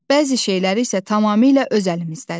Bəzi şeylər isə tamamilə öz əlimizdədir.